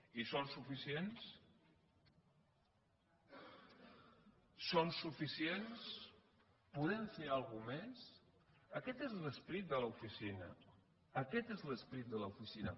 i són suficients són suficients podem fer alguna cosa més aquest és l’esperit de l’oficina aquest és l’esperit de l’oficina